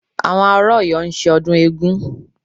Àwọn ará Ọ̀yọ́ ń ṣe ọdún eégún